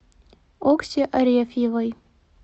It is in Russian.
окси арефьевой